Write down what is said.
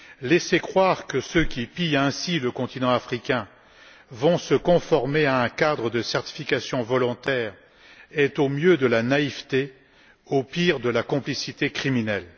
Laisser croire que ceux qui pillent ainsi le continent africain vont se conformer à un cadre de certification volontaire est au mieux de la naïveté, au pire de la complicité criminelle.